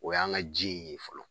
O y'an ka ji in ye fɔlɔ